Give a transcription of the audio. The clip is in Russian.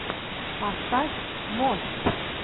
поставь мост